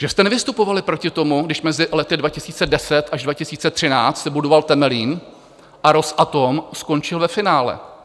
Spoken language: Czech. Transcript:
Že jste nevystupovali proti tomu, když mezi lety 2010 až 2013 se budoval Temelín a Rosatom skončil ve finále?